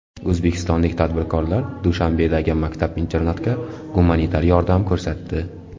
O‘zbekistonlik tadbirkorlar Dushanbedagi maktab-internatga gumanitar yordam ko‘rsatdi.